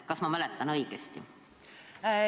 Kas ma mäletan õigesti?